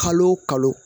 Kalo o kalo